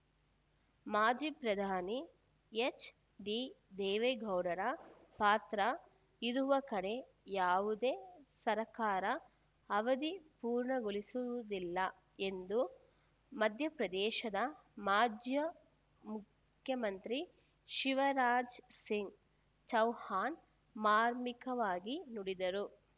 ಮಾಜಿ ಪ್ರಧಾನಿ ಹೆಚ್‌ಡಿ ದೇವೇಗೌಡರ ಪಾತ್ರ ಇರುವ ಕಡೆ ಯಾವುದೇ ಸರ್ಕಾರ ಅವಧಿ ಪೂರ್ಣಗೊಳಿಸುವುದಿಲ್ಲ ಎಂದು ಮಧ್ಯ ಪ್ರದೇಶದ ಮಾಜಿಯ ಮುಖ್ಯಮಂತ್ರಿ ಶಿವರಾಜ್ ಸಿಂಗ್ ಚೌಹಾಣ್ ಮಾರ್ಮಿಕವಾಗಿ ನುಡಿದರು